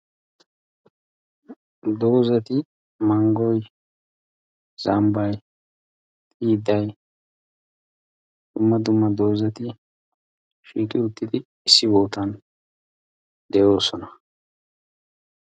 Doozati manggoy, zambbay, mittay dumma dumma doozati shiiqi uttidi issi boottan de'oosona.